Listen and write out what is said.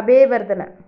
Abeywardena